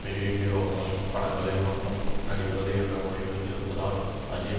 பெரிய ஹீரோக்களின் படங்களில் மட்டுமே நடிப்பது என்ற முடிவில் இருப்பதால் அஜித்